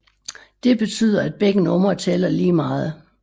Dette betyder at begge numre tæller lige meget